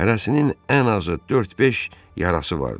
Hərəsinin ən azı dörd-beş yarası vardı.